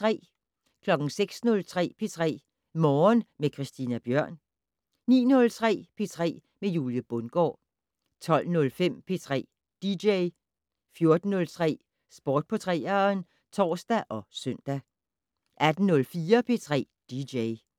06:03: P3 Morgen med Christina Bjørn 09:03: P3 med Julie Bundgaard 12:05: P3 dj 14:03: Sport på 3'eren (tor og søn) 18:04: P3 dj